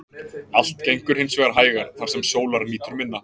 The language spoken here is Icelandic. Allt gengur hins vegar hægar þar sem sólar nýtur minna.